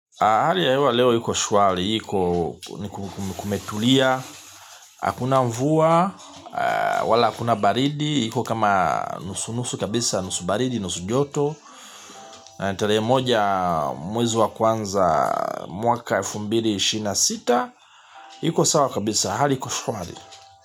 Hali ya hewa leo iko shwari, iko kumetulia, hakuna mvua, wala hakuna baridi, iko kama nusu nusu kabisa, nusu baridi, nusu joto, ni tarehe moja mwezi wa kwanza mwaka elfu mbili, ishirini na sita, iko sawa kabisa, hali iko shwari.